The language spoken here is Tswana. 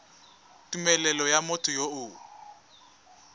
tumelelo ya motho yo o